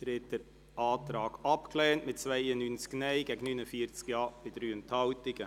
Sie haben den Antrag abgelehnt mit 92 Nein- zu 49 Ja-Stimmen bei 3 Enthaltungen.